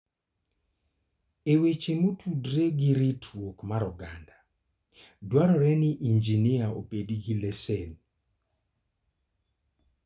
E weche motudore gi ritruok mar oganda, dwarore ni injinia obed gi lesen.